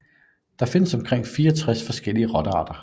Der findes omkring 64 forskellige rottearter